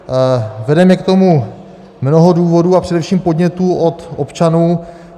Vede mě k tomu mnoho důvodů a především podnětů od občanů.